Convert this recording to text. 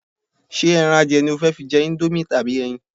Ṣé ẹran adìẹ ni o fẹ́ fi jẹ íńdómì àbí ẹyin?